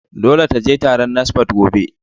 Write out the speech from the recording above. Dole ka je taron NASFAT gobe!